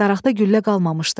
Daraqda güllə qalmamışdı.